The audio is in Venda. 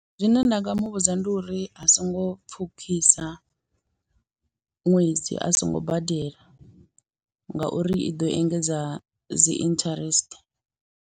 Zwine nda nga muvhudza ndi uri a songo pfhukhisa ṅwedzi a songo badela, ngauri i ḓo engedza dzi interest.